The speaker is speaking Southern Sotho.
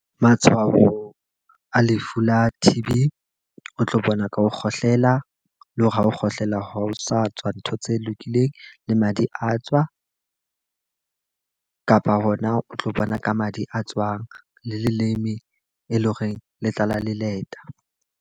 Matshwao a lefu la T_B, o tlo bona ka ho kgohlela. Le hore ha ho kgohlela ha o sa tswa ntho tse lokileng, le madi a tswa kapa hona o tlo bona ka madi a tswang le leleme e leng horeng le tlala leleta.